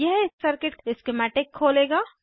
यह circuit schematic खोलेगा